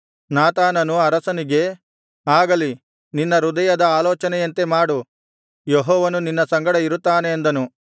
ನಾತಾನನು ಅರಸನಿಗೆ ಆಗಲಿ ನಿನ್ನ ಹೃದಯದ ಆಲೋಚನೆಯಂತೆ ಮಾಡು ಯೆಹೋವನು ನಿನ್ನ ಸಂಗಡ ಇರುತ್ತಾನೆ ಅಂದನು